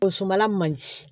Musomala man di